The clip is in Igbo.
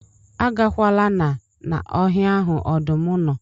Agakwala na na ọhịa ahụ ọdụm nọ